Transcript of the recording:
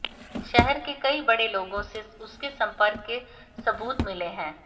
शहर के कई बड़े लोगों से उसके संपर्क के सबूत मिले हैं